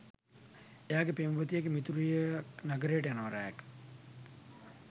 එයාගේ පෙම්වතියගෙ මිතුරියක් නගරයට යනවා රෑක.